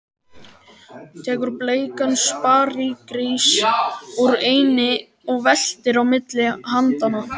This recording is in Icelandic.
Tekur bleikan sparigrís úr einni og veltir á milli handanna.